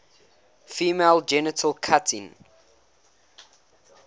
female genital cutting